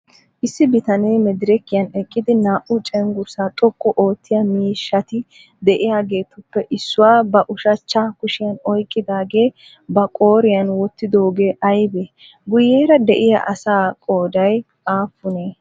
Issi bitanee medrekiyan eqqidi naa"u cenggurssaa xoqqu oottiyaa miishshati de"iyaageetuppe issuwa ba ushachcha kushiyan oyqqidaagee ba qooriyan wottidoogee aybee? Guyyeera de"iyaa asaa qooday aappunee?